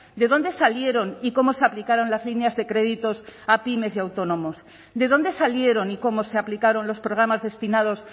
de dónde salieron y cómo se aplicaron las líneas de créditos a pymes y autónomos de dónde salieron y cómo se aplicaron los programas destinados